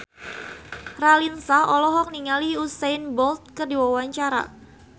Raline Shah olohok ningali Usain Bolt keur diwawancara